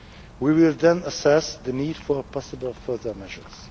We will then assess the need for possible further measures.